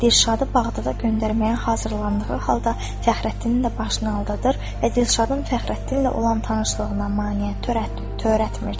Dilşadı bağda da göndərməyə hazırlandığı halda Fəxrəddini də başını aldadır və Dilşadın Fəxrəddinlə olan tanışlığına maneə törətmir.